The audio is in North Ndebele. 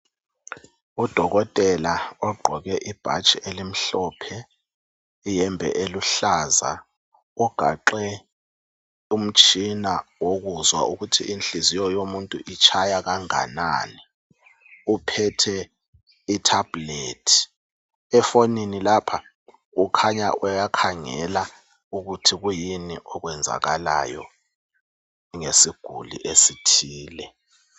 Udokotela ogqoke ibhatshi elimhlophe, iyembe eluhlaza ugaxe umtshina wokuzwa ukuthi inhliziyo yomuntu itshaya kanganani, uphethe itablet. Efonini lapha ukhanya uyakhangela ukuthi kuyini okwenzakalayo ngesiguli esithile .